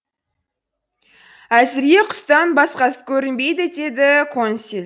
әзірге құстан басқасы көрінбейді деді консель